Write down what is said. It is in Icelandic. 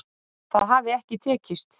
Það hafi ekki tekist